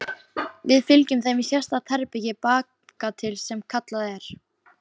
Við fylgjum þeim í sérstakt herbergi bakatil sem kallað er